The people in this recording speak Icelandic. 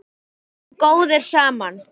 Við vorum góðir saman.